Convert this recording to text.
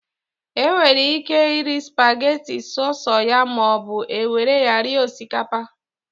E nwere ike iri spageti so so ya maọbụ, e were ya rie osikapa